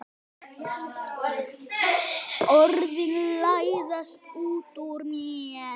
Orðin læðast út úr mér.